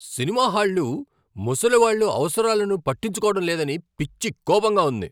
Cinema హాళ్లు ముసలి వాళ్ళ అవసరాలను పట్టించుకోవడం లేదని పిచ్చి కోపంగా ఉంది.